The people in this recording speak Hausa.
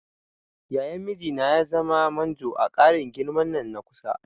Yayan mijina ya zama manjo a ƙarin girman nan na kusa.